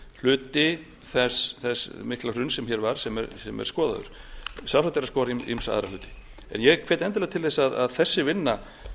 hluti þess mikla hruns sem hér varð sem er skoðaður sjálfsagt er að skoða ýmsa aðra hluti en ég hvet endilega til þess að þessi vinna